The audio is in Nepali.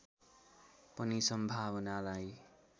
पनि सम्भावनालाई